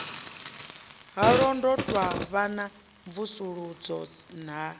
ha londotwa vhana mvusuludzo na